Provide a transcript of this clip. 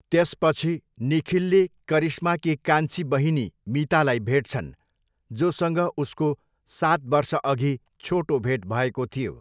त्यसपछि, निखिलले करिश्माकी कान्छी बहिनी मीतालाई भेट्छन्, जोसँग उसको सात वर्षअघि छोटो भेट भएको थियो।